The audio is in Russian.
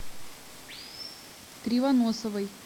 кривоносовой